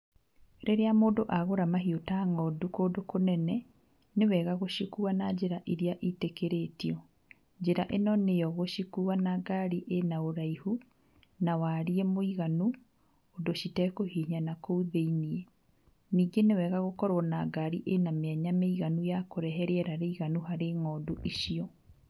Rĩrĩa mũndũ agũra mahiũ ta ng'ondu kũndũ kũnene, nĩwega gũcikuua na njĩra iria ciĩtĩkĩrĩtio, njĩra ĩno nĩyo gũcikuua na ngaari ĩna ũraihu na wariĩ mũiganu ũndũ citakũhinya nakũu thĩini, ningĩ nĩ wega gũkorwo na ngaari ĩna mĩanya mĩiganu ya kũrehe rĩera rĩiganu harĩ ng'ondu icio.